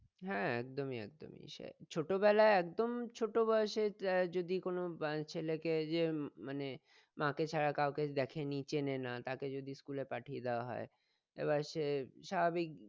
হ্যাঁ একদমই একদমই ছোটবেলায় একদম ছোটবয়সে যদি কোনো ছেলেকে যে মানে মা কে ছাড়া কাউকে দেখেনি চেনে না তাকে যদি school এ পাঠিয়ে দেওয়া হয় তবে সে স্বাভাবিক